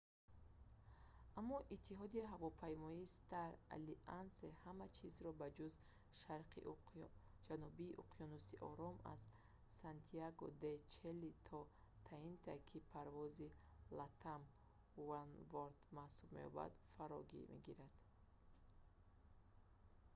аммо иттиҳоди ҳавопаймоии «star alliance» ҳама чизро ба ҷуз шарқи ҷануби уқёнуси ором аз сантяго-де-чили то таити ки парвози «latam oneworld» маҳсуб меёбад фаро мегирад